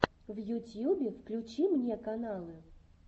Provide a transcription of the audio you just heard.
в ютьюбе включи мне каналы